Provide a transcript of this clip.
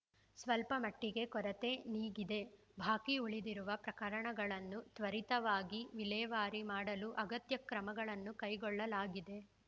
ಸ್ವಲ್ಪ ಮಟ್ಟಿಗೆ ಕೊರತೆ ನೀಗಿದೆ ಬಾಕಿ ಉಳಿದಿರುವ ಪ್ರಕರಣಗಳನ್ನು ತ್ವರಿತವಾಗಿ ವಿಲೇವಾರಿ ಮಾಡಲು ಅಗತ್ಯ ಕ್ರಮಗಳನ್ನು ಕೈಗೊಳ್ಳಲಾಗಿದೆ